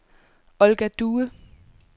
Olga Due